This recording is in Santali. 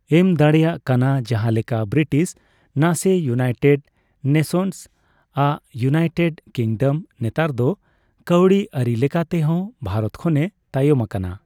ᱮᱢ ᱫᱟᱲᱮᱭᱟᱜ ᱠᱟᱱᱟ᱾ ᱡᱟᱦᱟᱸ ᱞᱮᱠᱟ ᱵᱨᱤᱴᱤᱥ, ᱱᱟᱥᱮ ᱤᱭᱩᱱᱟᱭᱴᱮᱰ ᱱᱮᱥᱮᱱᱥ ᱟᱸᱜ ᱤᱩᱱᱟᱭᱴᱮᱰ ᱠᱤᱝᱰᱚᱢ ᱱᱮᱛᱟᱨ ᱫᱚ ᱠᱟᱹᱣᱰᱤ ᱟᱹᱨᱤ ᱞᱮᱠᱟᱛᱮ ᱦᱚᱸ ᱵᱷᱟᱨᱚᱛ ᱠᱷᱚᱱᱮ ᱛᱟᱭᱚᱢ ᱟᱠᱟᱱᱟ᱾